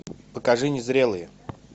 покажи незрелые